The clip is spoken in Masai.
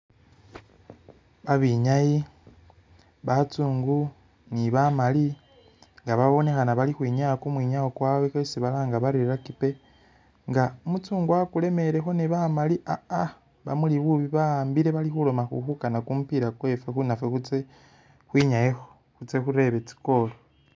Babinyayi batsungu ni bamaali nga babonekhana bali ukhwinyaya kumwinyawo kwawe kwesi balanga bari rugby nga umutsungu wakulemelekho ne bamali ah ah bamuli bubi bahambile bali khuloma khulikukana kumupiila kwefe nafe khutse kwinyayekho khutse khurebe tsi'goal